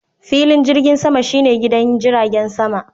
Filin jirgin sama shi ne gidan jiragen sama.